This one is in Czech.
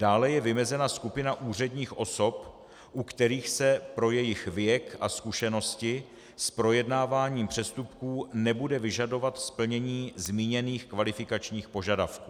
Dále je vymezená skupina úředních osob, u kterých se pro jejich věk a zkušenosti s projednáváním přestupků nebude vyžadovat splnění zmíněných kvalifikačních požadavků.